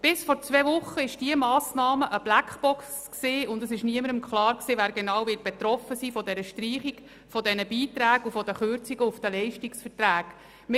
Bis vor zwei Wochen war diese Massnahme eine Blackbox, und es war niemandem klar, wer konkret von der Streichung dieser Beiträge und den Kürzungen der Leistungsverträge betroffen ist.